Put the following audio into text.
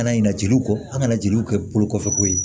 Kana ɲina jeliw kɔ an kana jeliw kɛ bolo kɔfɛ ko ye